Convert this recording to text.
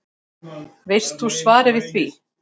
Veist þú svarið við því?